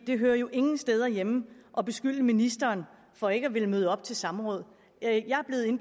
det hører jo ingen steder hjemme at beskylde ministeren for ikke at ville møde op til samråd